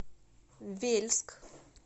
вельск